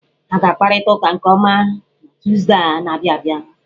Ha ga-akparịta ụka nke ọma na Tọzdee a na-abịa abịa.